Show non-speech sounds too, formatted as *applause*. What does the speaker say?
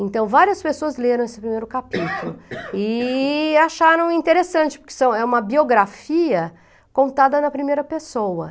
Então, várias pessoas leram esse primeiro capítulo *coughs* e acharam interessante, porque são é uma biografia contada na primeira pessoa.